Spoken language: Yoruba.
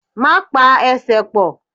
Má pa Ẹsẹ̀ ẹ pọ̀!